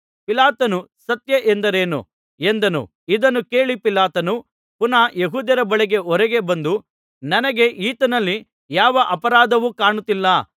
ಪಿಲಾತನು ಸತ್ಯ ಎಂದರೇನು ಎಂದನು ಇದನ್ನು ಹೇಳಿ ಪಿಲಾತನು ಪುನಃ ಯೆಹೂದ್ಯರ ಬಳಿ ಹೊರಗೆ ಬಂದು ನನಗೆ ಈತನಲ್ಲಿ ಯಾವ ಅಪರಾಧವೂ ಕಾಣುತ್ತಿಲ್ಲ